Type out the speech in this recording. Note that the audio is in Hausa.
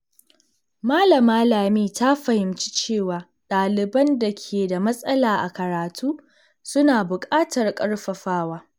Malama Lami ta fahimci cewa ɗaliban da ke da matsala a karatu suna bukatar ƙarfafawa.